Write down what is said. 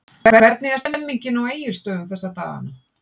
Hvernig er stemningin á Egilsstöðum þessa dagana?